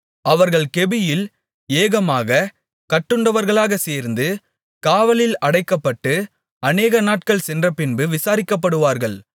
அவர்கள் கெபியில் ஏகமாகக் கட்டுண்டவர்களாகச் சேர்ந்து காவலில் அடைக்கப்பட்டு அநேகநாட்கள் சென்றபின்பு விசாரிக்கப்படுவார்கள்